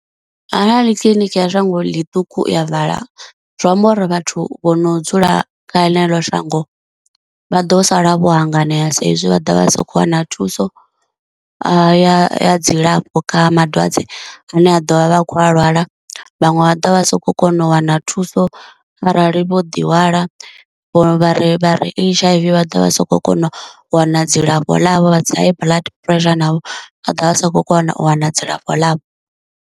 Arali kiḽiniki ya shango ḽiṱuku ya vala zwi amba uri vhathu vho no dzula kha ḽeḽo shango vha ḓo sala vho hanganea sa izwi vha dovha vha sa khou wana thuso ya ya ya dzilafho kha madwadze ane a ḓo vha vha khou a lwala, vhaṅwe vha ḓo vha sakho kona u wana thuso arali vho ḓihwala, vho vha ri vha ri H_I_V vha ḓo vha soko kona u wana dzilafho ḽavho, vha dza high blood pressure navho a ḓo vha vha sa khou kona u wana dzilafho ḽavho.